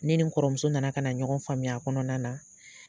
Ne ni n kɔrɔ muso na na ka na ɲɔgɔn faamuya a kɔnɔna na.